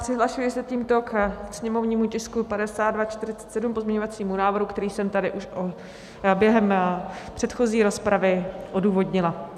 Přihlašuji se tímto ke sněmovnímu tisku 5247, k pozměňovacímu návrhu, který jsem tady už během předchozí rozpravy odůvodnila.